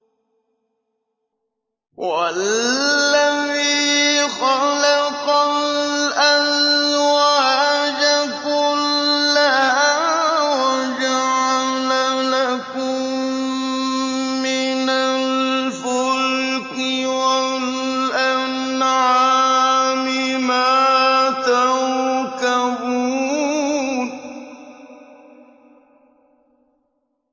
وَالَّذِي خَلَقَ الْأَزْوَاجَ كُلَّهَا وَجَعَلَ لَكُم مِّنَ الْفُلْكِ وَالْأَنْعَامِ مَا تَرْكَبُونَ